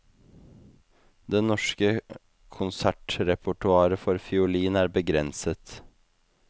Det norske konsertrepertoaret for fiolin er begrenset.